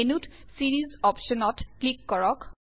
মেন্যুত series অপশ্যনত click কৰক